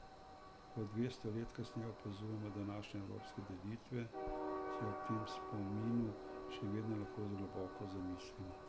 Ko dvesto let kasneje opazujemo današnje evropske delitve, se ob tem spominu še vedno lahko globoko zamislimo.